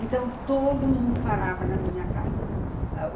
Então, todo mundo parava na minha casa.